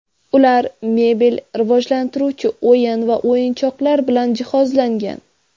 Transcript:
Ular mebel, rivojlantiruvchi o‘yin va o‘yinchoqlar bilan jihozlangan.